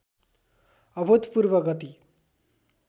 अभूतपूर्व गति